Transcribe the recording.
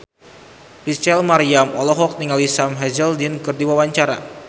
Rachel Maryam olohok ningali Sam Hazeldine keur diwawancara